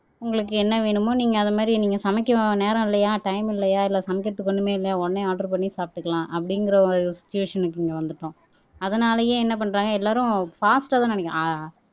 உங்களுக்கு என்ன வேணுமோ நீங்க அது மாறி நீங்க சமைக்க நேரம் இல்லையா டைம் இல்லையா இல்ல சமைக்கிறதுக்கு ஒண்ணுமே இல்லையா உடனே ஆர்டர் பண்ணி எடுக்கலாம் அப்படிங்கிற ஒரு சிட்டுவேசன்க்கு இங்க வந்துட்டோம் அதனாலயே என்ன பண்றாங்க எல்லாரும் பாஸ்ட்டா தான்